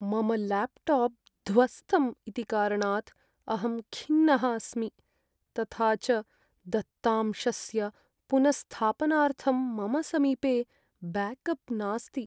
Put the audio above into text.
मम ल्याप्टाप् ध्वस्तम् इति कारणात् अहं खिन्नः अस्मि, तथा च दत्तांशस्य पुनःस्थापनार्थं मम समीपे ब्याकप् नास्ति।